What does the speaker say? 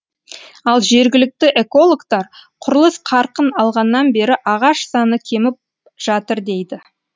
ал жергілікті экологтар құрылыс қарқын алғаннан бері ағаш саны кеміп жатыр дейді